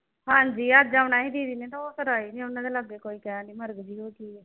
ਹਾਂਜੀ ਅੱਜ ਆਉਣਾ ਸੀ ਦੀਦੀ ਨੇ ਤਾਂ ਉਹ ਫਿਰ ਉਨ੍ਹਾਂ ਦੇ ਲਾਗੇ ਕੋਈ ਕਹਿਣ ਡਈ ਮਰਗ ਜਿਹੀ ਹੋ ਗਈ ਆ।